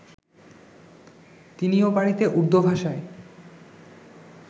তিনিও বাড়িতে উর্দু ভাষায়